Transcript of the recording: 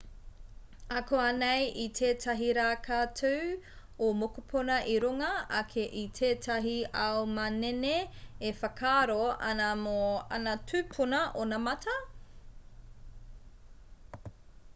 akuanei i tētahi rā ka tū ō mokopuna i runga ake i tētahi ao manene e whakaaro ana mō ana tūpuna onamata